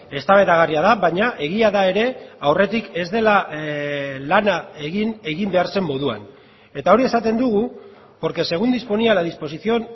eztabaidagarria da baina egia da ere aurretik ez dela lana egin egin behar zen moduan eta hori esaten dugu porque según disponía la disposición